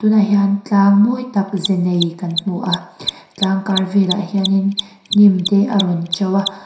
tunah hian tlang mawi tak ze nei kan hmu a tlang kar velah te hianin hnim te a rawn to a.